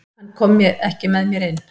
Hann kom ekki með mér inn.